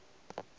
ge o ka no ba